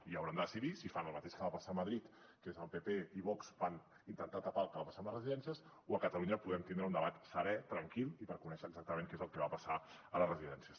i hauran de decidir si fan el mateix que va passar a madrid que és que el pp i vox van intentar tapar el que va passar amb les residències o a catalunya podem tindre un debat serè tranquil i per conèixer exactament què és el que va passar a les residències